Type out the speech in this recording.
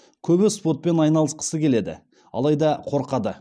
көбі спортпен айналысқысы келеді алайда қорқады